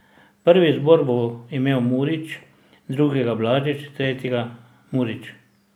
Prvi izbor bo imel Murić, drugega Blažič, tretjega Murić ...